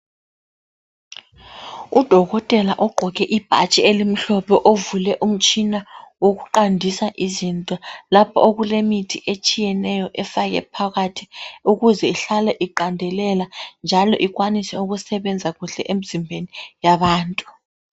Udokotela ogqoke ibhatshi elimhlophe ovule umtshina wokuqandisa izinto lapho okulemithi etshiyeneyo efake phakathi ukuze ihlale iqandelela njalo ikwanise ukusebenza kuhle emzimbeni yabantu.